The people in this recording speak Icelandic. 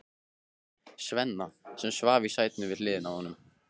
Svenna, sem svaf í sætinu við hliðina á honum.